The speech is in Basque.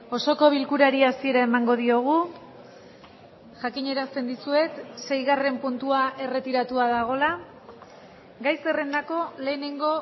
osoko bilkurari hasiera emango diogu jakinarazten dizuet seigarren puntua erretiratua dagoela gai zerrendako lehenengo